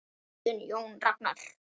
Þinn Jón Ragnar.